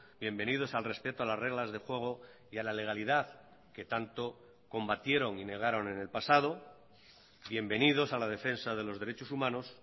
bienvenidos al respeto a las reglas de juego y a la legalidad que tanto combatieron y negaron en el pasado bienvenidos a la defensa de los derechos humanos